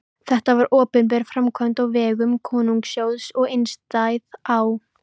Þetta var opinber framkvæmd á vegum konungssjóðs og einstæð á